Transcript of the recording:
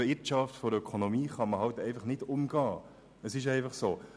Die Gesetze der Ökonomie sind eben nicht zu umgehen, das ist einfach so.